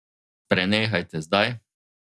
Prenehajte zdaj!